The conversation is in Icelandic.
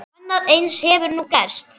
Annað eins hefur nú gerst.